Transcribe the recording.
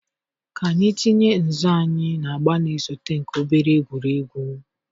ka anyị tinye nzọ anyị na agba na-esote nke obere egwuregwu.